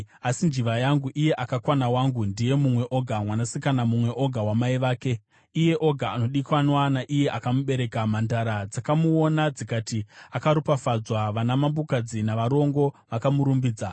Asi njiva yangu, iye akakwana wangu, ndiwe mumwe oga, mwanasikana mumwe oga wamai vake, iye woga anodikanwa naiye akamubereka. Mhandara dzakamuona dzikamuti akaropafadzwa. Vanamambokadzi navarongo vakamurumbidza.